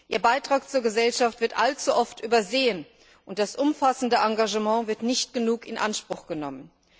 Ihr Beitrag zur Gesellschaft wird allzu oft übersehen, und das umfassende Engagement wird nicht genug in Anspruch genommen.